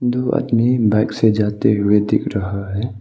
दो आदमी बाइक से जाते हुए दिख रहा है।